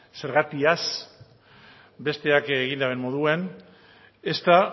zergatiaz besteak egin duten moduan ezta